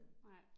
Nej